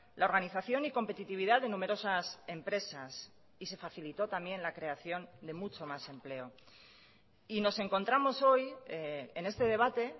la organización y competitividad de numerosas empresas y se facilitó también la creación de mucho más empleo y nos encontramos hoy en este debate